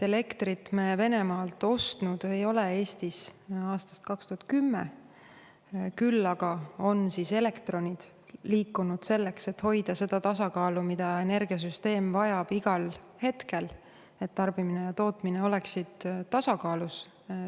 Elektrit me Venemaalt ostnud ei ole Eestis aastast 2010, küll aga on elektronid liikunud selleks, et hoida seda tasakaalu, mida energiasüsteem vajab igal hetkel, et tarbimine ja tootmine oleksid tasakaalus.